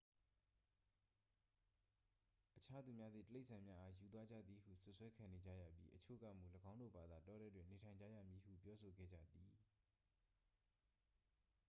အခြားသူများသည် တိရစ္ဆာန်များအား ယူသွားကြသည်ဟု စွပ်စွဲခံနေကြရပြီး အချို့ကမူ ၎င်းတို့ဘာသာ တောထဲတွင် နေထိုင်ကြရမည်ဟု ပြောဆိုခဲ့ကြသည်